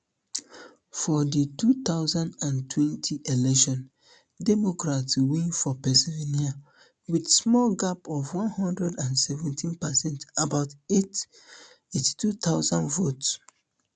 for di two thousand and twenty election democrats win for pennsylvania wit small gap of one hundred and seventeen percent about eighty-two thousand votes